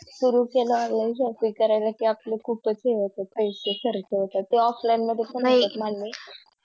तर सुरु केले Online shopping करायला कि आपले खुपच हे होता पैसे खर्च त्याच्या Offline मध्ये पण होत मान्य